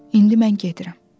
İndi mən gedirəm.